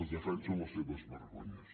es defensen les seves vergonyes